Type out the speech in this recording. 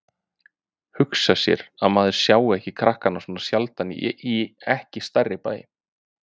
Hugsa sér að maður sjái ykkur krakkana svona sjaldan í ekki stærri bæ.